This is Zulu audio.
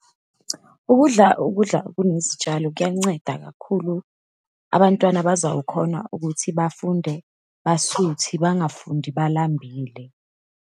Ukudla ukudla okunezitshalo kuyanceda kakhulu. Abantwana bazawukhona ukuthi bafunde basuthi, bangafundi balambile.